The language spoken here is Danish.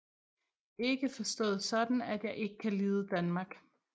Ikke forstået sådan at jeg ikke kan lide Danmark